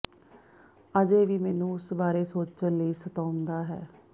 ਅਜੇ ਵੀ ਮੈਨੂੰ ਉਸ ਬਾਰੇ ਸੋਚਣ ਲਈ ਸਤਾਉਂਦਾ ਹੈ